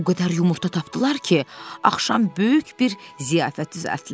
O qədər yumurta tapdılar ki, axşam böyük bir ziyafət düzəltdilər.